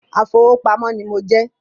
Afowópamọ́ ní mo jẹ́